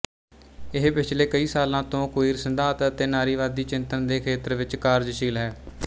ਇਹ ਪਿਛਲੇ ਕਈ ਸਾਲਾਂ ਤੋਂ ਕੁਈਰ ਸਿਧਾਂਤ ਅਤੇ ਨਾਰੀਵਾਦੀ ਚਿੰਤਨ ਦੇ ਖੇਤਰ ਵਿੱਚ ਕਾਰਜਸ਼ੀਲ ਹੈ